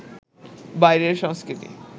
বাইরের সংস্কৃতি